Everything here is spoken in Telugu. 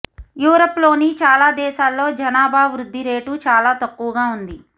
యూరప్లోని చాలా దేశాల్లో జనాభా వృద్ధి రేటు చాలా తక్కువగా ఉంది